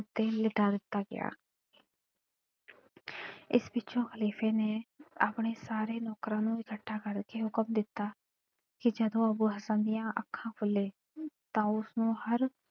ਉੱਤੇ ਲਿਟਾ ਦਿੱਤਾ ਗਿਆ ਇਸ ਪਿੱਛੋਂ ਖ਼ਲੀਫ਼ੇ ਨੇ ਆਪਣੇ ਸਾਰੇ ਨੌਕਰਾਂ ਨੂੰ ਇਕੱਠਾ ਕਰਕੇ ਹੁਕਮ ਦਿੱਤਾ ਕਿ ਜਦੋਂ ਅੱਬੂ ਹਸਨ ਦੀਆਂ ਅੱਖਾਂ ਖੁੱਲ੍ਹੇ ਤਾਂ ਉਸਨੂੰ ਹਰ,